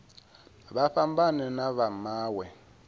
vha fhambane na vha mawe